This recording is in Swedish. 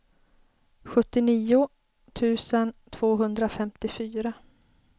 sjuttionio tusen tvåhundrafemtiofyra